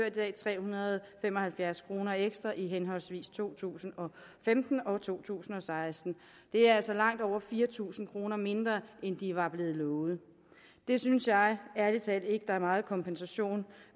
i dag tre hundrede og fem og halvfjerds kroner ekstra i henholdsvis to tusind og femten og to tusind og seksten det er altså langt over fire tusind kroner mindre end de var blevet lovet det synes jeg ærlig talt ikke er meget kompensation